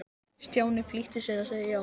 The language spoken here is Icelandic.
Stjáni flýtti sér að segja já.